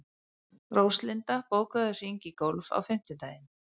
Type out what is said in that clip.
Róslinda, bókaðu hring í golf á fimmtudaginn.